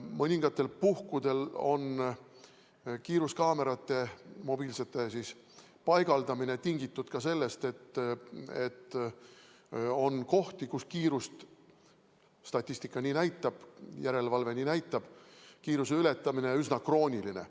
Mõningatel puhkudel on mobiilsete kiiruskaamerate paigaldamine tingitud sellest, et on kohti, kus statistika ja järelevalve näitavad, et kiiruse ületamine on üsna krooniline.